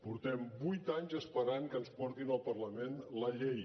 portem vuit anys esperant que ens portin al parlament la llei